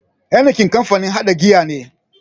Heineken kamfanin haɗa giya ne.